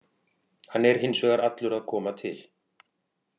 Hann er hins vegar allur að koma til.